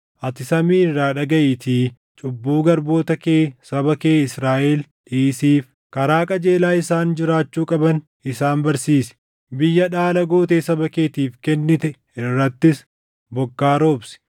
ati samii irraa dhagaʼiitii cubbuu garboota kee saba kee Israaʼel dhiisiif. Karaa qajeelaa isaan jiraachuu qaban isaan barsiisi; biyya dhaala gootee saba keetiif kennite irrattis bokkaa roobsi.